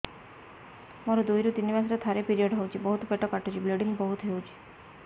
ମୋର ଦୁଇରୁ ତିନି ମାସରେ ଥରେ ପିରିଅଡ଼ ହଉଛି ବହୁତ ପେଟ କାଟୁଛି ବ୍ଲିଡ଼ିଙ୍ଗ ବହୁତ ହଉଛି